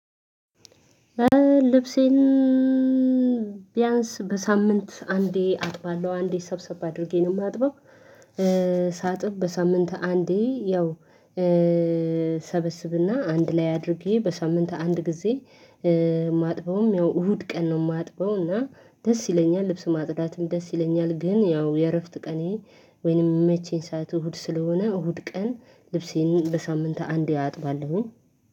ልብሴን ቢያንስ በሳምንት አንዴ አጥባለሁ አንዴ ሰብሰብ አድርጌ ነው የማጥበው። ሳጥብ በሳምንት አንዴ ያው እሰበስብና አንድ ላይ አድርጌ በሳምንት አንድ ጊዜ። ማጥበውም ያው እሁድ ቀን ነው የማጥበውና ደስ ይለኛል ልብስ ማጥዳትም ደስ ይለኛል። ግን ያው የእረፍት ቀኔ ወይንም የመቼኝ ሰዓት እሁድ ስለሆነ እሁድ ቀን ልብሴን በሳምንት አንዴ አጥባለሁኝ።